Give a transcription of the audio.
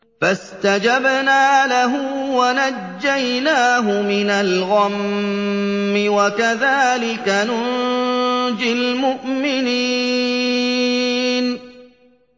فَاسْتَجَبْنَا لَهُ وَنَجَّيْنَاهُ مِنَ الْغَمِّ ۚ وَكَذَٰلِكَ نُنجِي الْمُؤْمِنِينَ